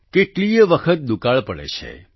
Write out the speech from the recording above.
કેટલીયે વખત દુકાળ પડે છે